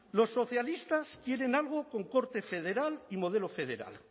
los socialistas quieren algo con corte federal y modelo federal